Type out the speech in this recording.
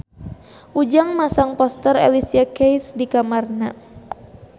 Ujang masang poster Alicia Keys di kamarna